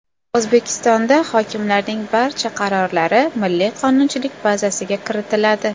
O‘zbekistonda hokimlarning barcha qarorlari Milliy qonunchilik bazasiga kiritiladi.